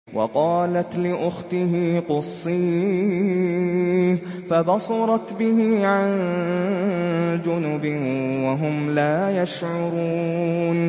وَقَالَتْ لِأُخْتِهِ قُصِّيهِ ۖ فَبَصُرَتْ بِهِ عَن جُنُبٍ وَهُمْ لَا يَشْعُرُونَ